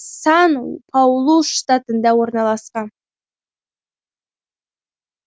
сан паулу штатында орналасқан